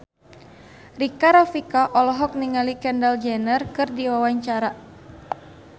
Rika Rafika olohok ningali Kendall Jenner keur diwawancara